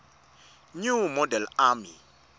new model army